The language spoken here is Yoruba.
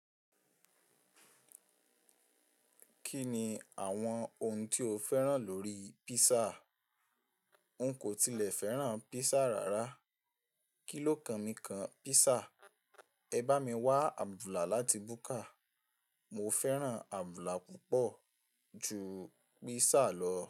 Kí ni àwọn ohun tí o fẹ́ràn lórí písà? N kò tilẹ̀ fẹ́ràn písà rárá. Kí ló kan mi kan písà? Ẹ bá mi wá àbùlà láti búkà. Mo fẹ́ràn àbùlà púpọ̀ ju písà lọ.